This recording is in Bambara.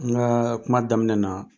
N ka kuma daminɛ na.